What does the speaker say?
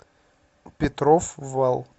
петров вал